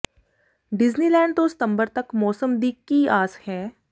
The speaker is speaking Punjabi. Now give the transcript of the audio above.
ਡੀਜ਼ਨੀਲੈਂਡ ਤੋਂ ਸਤੰਬਰ ਤੱਕ ਮੌਸਮ ਦੀ ਕੀ ਆਸ ਹੈ